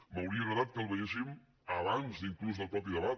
m’hauria agradat que el veiéssim abans inclús del mateix debat